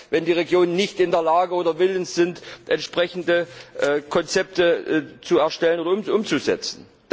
wenn die Regionen nicht in der Lage oder willens sind, entsprechende Konzepte zu erstellen und umzusetzen.